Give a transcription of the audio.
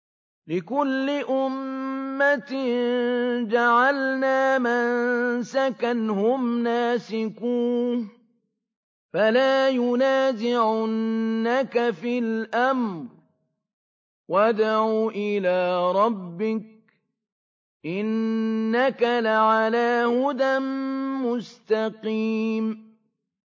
لِّكُلِّ أُمَّةٍ جَعَلْنَا مَنسَكًا هُمْ نَاسِكُوهُ ۖ فَلَا يُنَازِعُنَّكَ فِي الْأَمْرِ ۚ وَادْعُ إِلَىٰ رَبِّكَ ۖ إِنَّكَ لَعَلَىٰ هُدًى مُّسْتَقِيمٍ